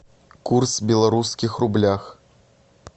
курс в белорусских рублях